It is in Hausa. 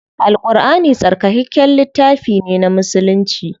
Al Ƙurʼani tsarkakakken littafi ne na musulci.